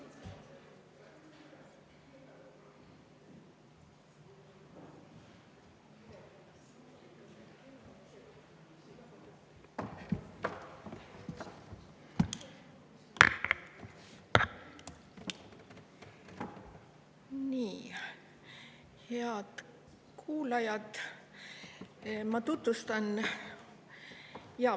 Head kuulajad!